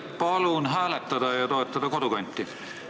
Palun hääletada ja toetada Kodukanti!